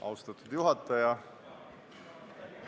Austatud juhataja!